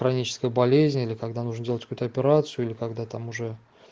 хроническая болезнь или когда нужно делать какую-то операцию или когда там уже